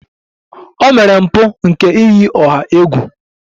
O mere mpụ nke iyi ọha egwu.